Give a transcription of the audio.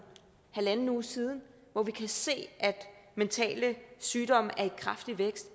halv uge siden hvor vi kan se at mentale sygdomme er i kraftig vækst